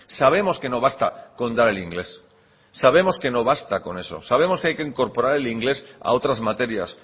sabemos que no basta con dar el inglés sabemos que no basta con eso sabemos que hay que incorporar el inglés a otras materias